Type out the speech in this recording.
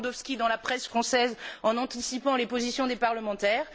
Lewandowski dans la presse française en anticipant la position des parlementaires.